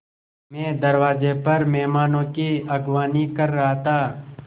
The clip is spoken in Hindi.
मैं दरवाज़े पर मेहमानों की अगवानी कर रहा था